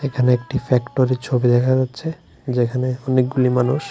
এখানে একটি ফ্যাক্টরির ছবি দেখা যাচ্ছে যেখানে অনেকগুলি মানুষ--